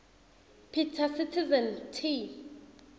peter citizen t